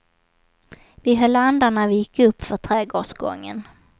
Vi höll andan när vi gick upp för trädgårdsgången.